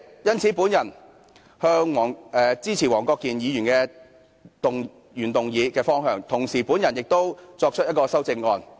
因此，主席，我支持黃國健議員所提原議案的方向，同時亦提出了一項修正案。